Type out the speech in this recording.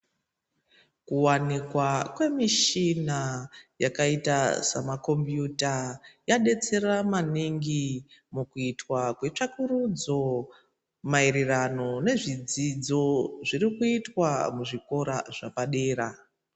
Kuwanikwa kwemechina yakaita semakombiyuta yadetsera maningi mukuitwa kwetsvakurudzo maereranano nezvidzidzo zvirikuitwa muzvikora zvepadera.